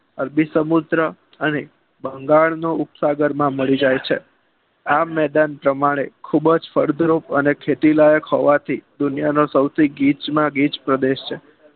અરબી સમુદ્ર અને બંગાળનું ઉપસાગર મળી જાય છે આમ મેદાન પ્રમાણે ખૂબજ ફળદ્રુપ ખેતીલાયક હોવાથી દુનિયાનો સુથી ગીચ માં ગીચ પ્રદેશ છે